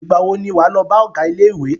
Ìgbà wo ni wà á lọ bá ọgá ilé ìwé?